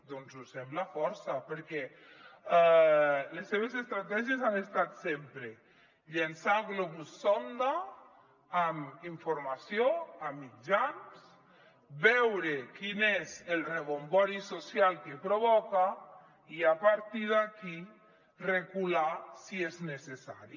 doncs ho sembla força perquè les seves estratègies han estat sempre llançar globus sonda amb informació a mitjans veure quin és el rebombori social que pro·voca i a partir d’aquí recular si és necessari